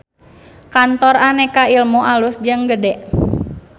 Kantor Aneka Ilmu alus jeung gede